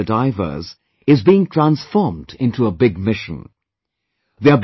This small beginning by the divers is being transformed into a big mission